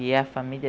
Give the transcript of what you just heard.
E a família